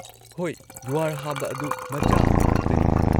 ꯍꯣꯏ, ꯌꯨꯍꯥꯔ ꯍꯥꯕ ꯑꯗꯨ ꯃꯆꯥ ꯑꯃ ꯈꯛꯇꯅꯤ꯫